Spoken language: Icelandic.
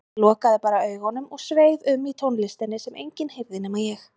Ég lokaði bara augunum og sveif um í tónlistinni sem enginn heyrði nema ég.